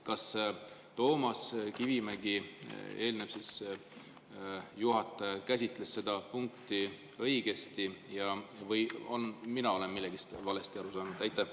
Kas Toomas Kivimägi, eelmine juhataja, käsitles seda punkti õigesti või mina olen millestki valesti aru saanud?